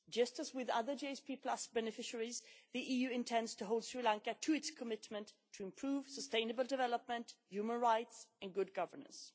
Just as with other GSP beneficiaries, the EU intends to hold Sri Lanka to its commitment to improve sustainable development, human rights and good governance.